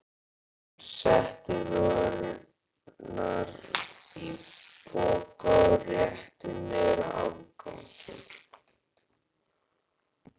Hann setti vörurnar í poka og rétti mér afganginn.